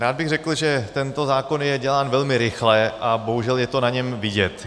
Rád bych řekl, že tento zákon je dělán velmi rychle a bohužel je to na něm vidět.